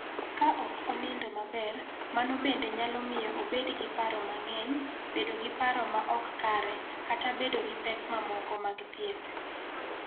Ka ok onindo maber, mano bende nyalo miyo obed gi paro mang�eny, bedo gi paro ma ok kare, kata bedo gi pek mamoko mag thieth.